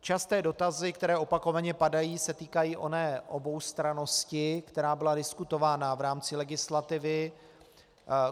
Časté dotazy, které opakovaně padají, se týkají oné oboustrannosti, která byla diskutována v rámci legislativy.